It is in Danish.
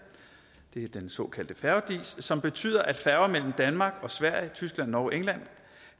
det er den såkaldte færge dis som betyder at færger mellem danmark og sverige tyskland norge og england